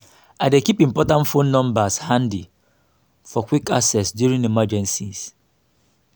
i dey keep important phone numbers handy for quick access during emergencies.